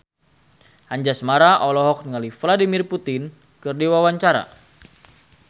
Anjasmara olohok ningali Vladimir Putin keur diwawancara